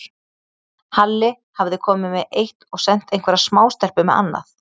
Halli hafði komið með eitt og sent einhverja smástelpu með annað.